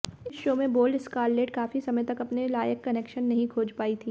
इस शो में bold Scarlett काफी समय तक अपने लायक कनेक्शन नहीं खोज पाई थीं